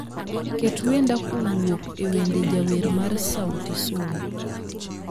Ket wenda kowuok ewende jawer ma Sauti Sol